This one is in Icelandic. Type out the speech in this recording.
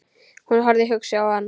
Hún horfði hugsi á hann.